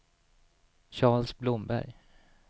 Charles Blomberg